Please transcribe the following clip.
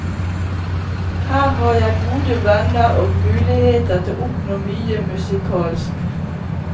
Her har jeg gode venner og muligheter til å oppnå mye musikalsk.